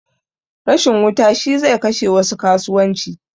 Rashin wuta shi zai kashe wasu kasuwanci